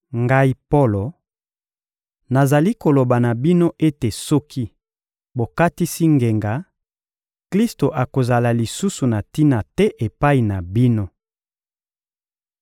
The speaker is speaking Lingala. Ngai Polo, nazali koloba na bino ete soki bokatisi ngenga, Klisto akozala lisusu na tina te epai na bino.